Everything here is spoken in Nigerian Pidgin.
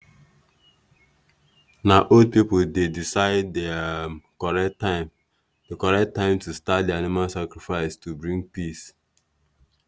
na old people dey decide the um correct time correct time to start animal sacrifice to bring peace.